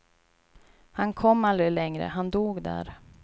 Han kom aldrig längre, han dog där.